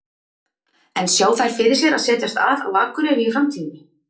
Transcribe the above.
En sjá þær fyrir sér að setjast að á Akureyri í framtíðinni?